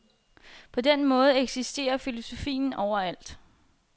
På den måde eksisterer filosofien overalt.